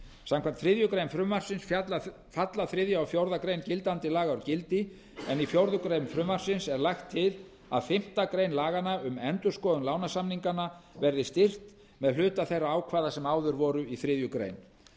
samkvæmt þriðju greinar frumvarpsins falla þriðja og fjórðu grein gildandi laga úr gildi en í fjórða grein frumvarpsins er lagt til að fimmtu grein laganna um endurskoðun lánasamninganna verði styrkt með hluta þeirra ákvæða sem áður voru í þriðju grein